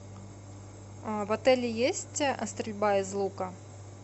в отеле есть стрельба из лука